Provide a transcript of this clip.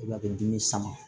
a bɛ dimi sama